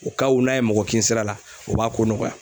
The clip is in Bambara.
U ka wu n'a ye mɔgɔ kin sira la u b'a ko nɔgɔya.